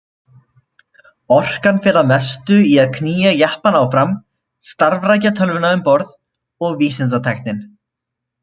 Orkan fer að mestu í að knýja jeppann áfram, starfrækja tölvuna um borð og vísindatækin.